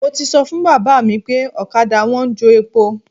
Mo ti sọ fún bàbá mi pé ọ̀kadà wọn ń jo epo.